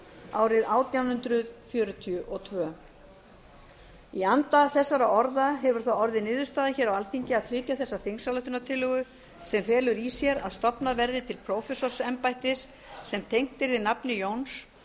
árið átján hundruð fjörutíu og tvö í anda þessara orða hefur það orðið niðurstaða hér á alþingi að flytja þessa þingsályktunartillögu sem felur í sér að stofnað verði til prófessorsembættis sem tengt yrði nafni jóns